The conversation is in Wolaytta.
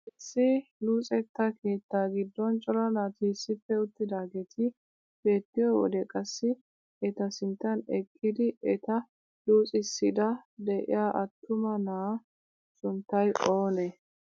Issi luxetta keettaa giddon cora naati issippe uttidaageti beettiyoo wode qassi eta sinttan eqqidi eta luxxissiidi de'iyaa attuma na'aa sunttay oonee?